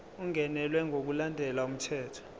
ungenelwe ngokulandela umthetho